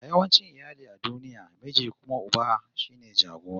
A yawancin iyali a duniya, miji kuma uba shine jagora